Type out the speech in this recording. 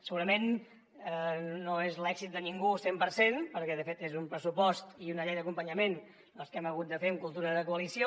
segurament no és l’èxit de ningú al cent per cent perquè de fet és un pressupost i una llei d’acompanyament que hem hagut de fer amb cultura de coalició